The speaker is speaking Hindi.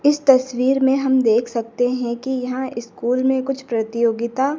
इस तस्वीर में हम देख सकते हैं कि यहां स्कूल में कुछ प्रतियोगिता--